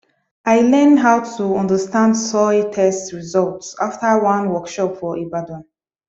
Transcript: i learn how to understand soil test result after one workshop for ibadan